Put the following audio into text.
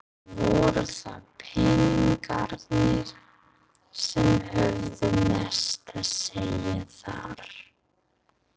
Voru það peningarnir sem höfðu mest að segja þar?